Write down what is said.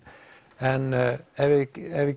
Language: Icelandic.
en ef við